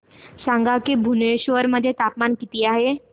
सांगा की भुवनेश्वर मध्ये तापमान किती आहे